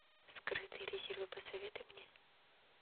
скрытые резервы посоветуй мне